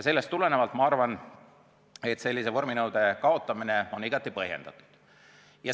Sellest tulenevalt ma arvan, et sellise vorminõude kaotamine on igati põhjendatud.